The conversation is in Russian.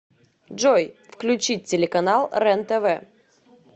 джой включить телеканал рентв